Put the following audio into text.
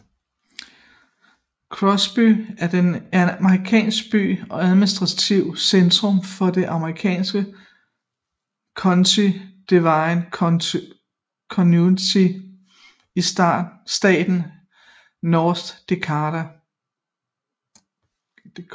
Crosby er en amerikansk by og administrativt centrum for det amerikanske county Divide County i staten North Dakota